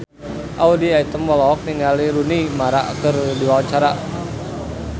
Audy Item olohok ningali Rooney Mara keur diwawancara